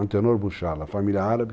Antenor Bouchala, família árabe.